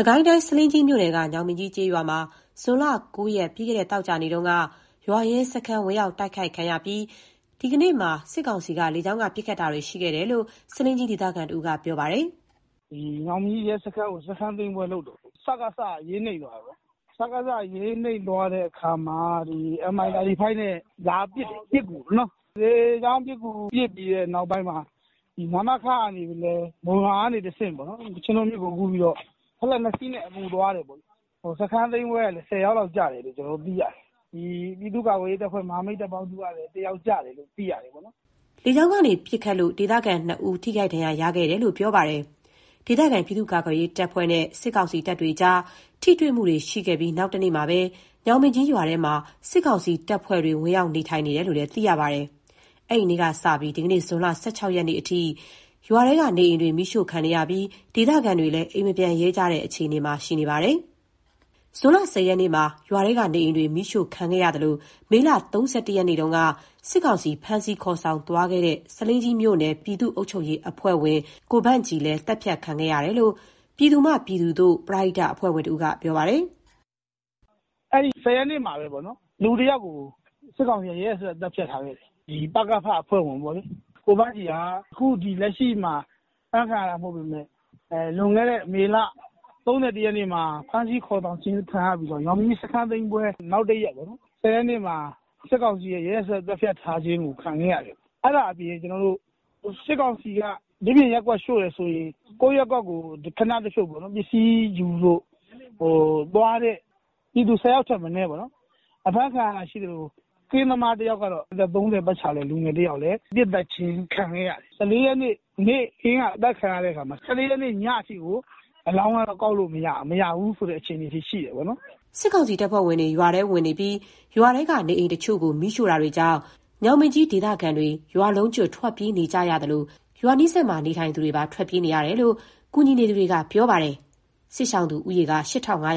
စ်ကိုင်းတိုင်း၊ ဆားလင်းကြီးမြို့နယ်က ညောင်ပင်ကြီးကျေးရွာမှာ ဇွန်လ ၉ ရက်၊ ပြီးခဲ့တဲ့ သောကြာနေ့တုန်းက ရွာရဲစခန်း ဝင်ရောက် တိုက်ခိုက်ခံရပြီး အဲဒီနေ့မှာ စစ်ကောင်စီက လေကြောင်းက ပစ်ခတ်တာတွေ ရှိခဲ့တယ်လို့ ဆားလင်းကြီးဒေသခံတဦးက ပြောပါတယ်။ "ညောင်ပင်ကြီးရဲစခန်းကို စခန်းသိမ်းပွဲလုပ်တော့ စကစ အရေးနိမ့်သွားတာပေါ့ဗျာ။ Mi-35 နဲ့ လာအပစ်ကူတယ်။ လေကြောင်းပစ်ကူ ပစ်ပြီးတဲ့နောက်ပိုင်းမှာ ဒီ နမခကနေလည်း မုံရွာကနေတဆင့် ချင်းတွင်းမြစ်ကို ကူးပြီးတော့ နောက်ထပ် ၂စီးနဲ့ အကူသွားတယ်ပေါ့။ စခန်းသိမ်းပွဲကလည်း စကစ ဘက်က ၁၀ ယောက်လောက်ကျတယ်လို့ သိရတယ်။ ပြည်သူ့ကာကွယ်ရေးတပ်ဖွဲ့ မဟာမိတ် တပ်ပေါင်းစုကလည်း ၁ ယောက်ကျတယ်လို့ သိရတယ်။" လေကြောင်းကနေ ပစ်ခတ်လို့ ဒေသခံ ၂ ဦးလည်း ထိခိုက်ဒဏ်ရာ ရခဲ့တယ်လို့ ပြောပါတယ်။ ဒေသခံပြည်သူ့ကာကွယ်ရေး တပ်ဖွဲ့နဲ့ စစ်ကောင်စီတို့ကြား ထိတွေ့မှုတွေရှိခဲ့ပြီး နောက်တနေ့မှာပဲ ညောင်ပင်ကြီးရွာထဲမှာ စစ်ကောင်စီတပ်ဖွဲ့တွေ ဝင်ရောက်နေထိုင်တယ်လို့ သိရပါတယ်။ အဲဒီနေ့ကစပြီး ဒီကနေ့ ဇွန်လ ၁၆ ရက်နေ့အထိ ရွာထဲက နေအိမ်တွေ မီးရှို့ခံနေရပြီး၊ ဒေသခံတွေလည်း အိမ်မပြန်ရဲကြတဲ့ အခြေအနေမှာ ရှိနေပါတယ်။ ဇွန်လ ၁၀ ရက်နေ့မှာ ရွာထဲကနေအိမ်တွေ မီးရှို့ခံခဲ့ရသလို၊ မေလ ၃၁ ရက်နေ့တုန်းက စစ်ကောင်စီ ဖမ်းဆီးခေါ်ဆောင်သွားတဲ့ ဆားလင်းကြီးမြို့နယ်၊ ပြည်သူ့အုပ်ချုပ်ရေးအဖွဲ့ဝင် ကိုဗန့်ဂျီလည်း သတ်ဖြတ်ခံခဲ့ရတယ်လို့ ပြည်သူမှပြည်သူသို့ ပရဟိအဖွဲ့ဝင်တဦးက ပြောပါတယ်။ "အဲဒီ ၁၀ ရက်နေ့မှာပဲ လူတယောက်ကို စစ်ကောင်စီက ရက်ရက်စက်စက် သတ်ဖြတ်ထားခဲ့တယ်။ ပကဖ အဖွဲ့ဝင် ကိုဗန့်ဂျီက အခုလက်ရှိမှာ အဖမ်းခံရတာ မဟုတ်ပေမယ့် လွန်ခဲ့တဲ့ မေလ ၃၁ ရက်နေ့မှာ ဖမ်းဆီးခေါ်ဆောင်ခြင်း ခံရပြီးတော့ ညောင်ပင်ကြီးစခန်းသိမ်းပွဲ နောက်တရက်ပေါ့နော်၊ ၁၀ ရက်နေ့မှာ စစ်ကောင်စီရဲ့ ရက်ရက်စက်စက် သတ်ဖြတ်ထားခြင်းကို ခံခဲ့ရတယ်။ အဲဒါအပြင် စစ်ကောင်စီက ဒီပြင့်ရပ်ကွက်ရှို့တယ်ဆိုရင် ကိုယ့်ရပ်ကွက်ကို ပစ္စည်းယူဖို့ ခဏတဖြုတ်သွားတဲ့ ပြည်သူ ၁၀ ယောက်ထက်မနည်း အဖမ်းခံရတာရှိသလို၊ ကင်းသမား - အသက် ၃၀ ပတ်ချာလည် လူငယ်တယောက်လည်း ပစ်သတ်ခြင်းခံခဲ့ရတယ်။ ၁၄ ရက်နေ့ နေ့ခင်းက အသတ်ခံရတာ၊ ၁၄ ရက်နေ့ ညအထိကို အလောင်းလည်း ကောက်လို့မရတဲ့ အခြေအနေအထိ ရှိခဲ့တယ်။" စစ်ကောင်စီတပ်ဖွဲ့တွေ ရွာထဲဝင်နေပြီး၊ ရွာထဲက နေအိမ်တချို့ကို မီးရှို့တာတွေကြောင့် ညောင်ပင်ကြီးဒေသခံတွေ ရွာလုံးကျွတ် ထွက်ပြေးနေရသလို၊ ရွာနီးစပ်မှာ နေထိုင်သူတွေပါ ထွက်ပြေးနေတယ်လို့ ကူညီနေသူတွေက ပြောပါတယ်။ စစ်ရှောင်သူဦးရေက ၈,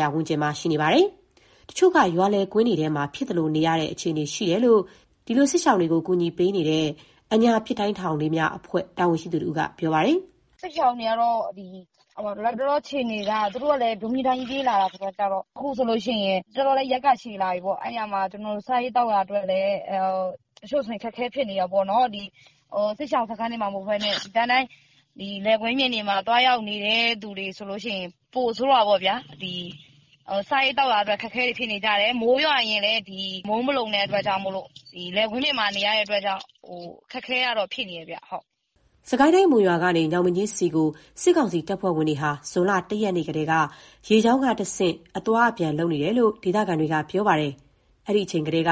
၅၀၀ ဝန်းကျင်မှာ ရှိနေတာပါ။ တချို့က ရွာလယ်ကွင်းထဲမှာသာ ဖြစ်သလိုနေရတဲ့ အခြေအနေရှိနေတယ်လို့ စစ်ရှောင်တွေကို ကူညီပေးနေတဲ့ အညာပစ်တိုင်းထောင်လေးများအဖွဲ့ တာဝန်ရှိသူတဦးကလည်း ပြောပါတယ်။ "စစ်ရှောင်တွေကတော့ လတ်တလောအခြေအနေမှာ သူတို့လည်း ဒုန်းချည်း ဒိုင်းချည်း ပြေးလာရတာဆိုတော့ အခုဆိုရင် တော်တော်လည်း ရက်ကရှည်လာပြီ။ အဲတော့ စားရေးသောက်ရာအတွက်လည်း တချို့ဆို အခက်အခဲဖြစ်နေတာပေါ့။ စစ်ရှောင်စခန်းတွေမှာ မဟုတ်ဘဲနဲ့ လယ်ကွင်းပြင်တွေမှာ သွားနေရတဲ့ သူတွေဆိုရင် ပိုဆိုးတာပေါ့။ စားရေးသောက်ရာအတွက် အခက်အခဲတွေ ဖြစ်နေကြတယ်။ မိုးရွာရင်လည်း မိုးမလုံတဲ့အတွက်ကြောင့် လယ်ကွင်းပြင်မှာနေရတော့ အခက်အခဲကတော့ ဖြစ်နေတယ်။" စစ်ကိုင်းတိုင်း၊ မုံရွာကနေ ညောင်ပင်ကြီးဆီကို စစ်ကောင်စီတပ်ဖွဲ့ဝင်တွေဟာ ဇွန်လ ၁ ရက်နေ့ကတည်းက ရေကြောင်းကနေတဆင့် အသွားအပြန်လုပ်နေတာလို့ ဒေသခံတွေက ပြောပါတယ်။ အဲဒီအချိန်ကတည်းက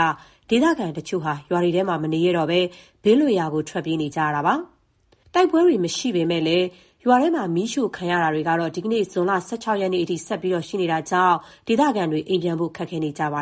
ဒေသခံတချို့က ရွာတွေထဲမနေရဲတော့ဘဲ ဘေးလွတ်ရာဆီ ထွက်ပြေးနေကြတာပါ။ ရွာထဲမှာ မီးရှို့ခံရတဲ့ အခြေအနေကလည်း ဇွန်လ ၁၆ ရက်၊ ဒီကနေ့အထိ ဆက်ပြီးရှိနေလို့ ထိတွေ့တိုက်ပွဲတွေ မရှိတော့ပေမယ့်လည်း အိမ်ပြန်ဖို့ ခက်ခဲနေကြပါ